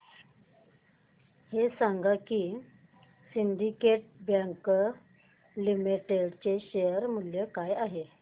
हे सांगा की सिंडीकेट बँक लिमिटेड चे शेअर मूल्य काय आहे